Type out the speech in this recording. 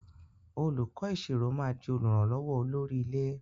Olùkó ìṣirò má dì olùrànlówó olórí ilé.